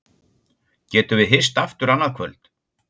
Getum við ekki hist aftur annað kvöld?